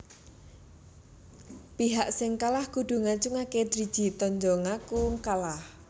Pihak sing kalah kudu ngacungaké driji tanda ngaku kalah